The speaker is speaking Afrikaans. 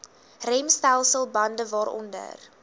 remstelsel bande waaronder